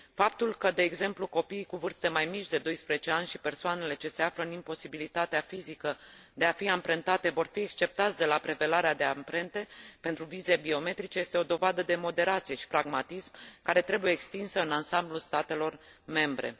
Faptul că, de exemplu, copiii cu vârste mai mici de 12 ani și persoanele ce se află în imposibilitatea fizică de a fi amprentate vor fi exceptați de la prelevarea de amprente pentru vize biometrice este o dovadă de moderație și pragmatism care trebuie extinsă în ansamblul statelor membre.